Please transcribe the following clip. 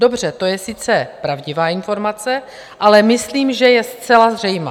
- Dobře, to je sice pravdivá informace, ale myslím, že je zcela zřejmá.